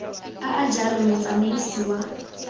a a jalo motsamaisi wa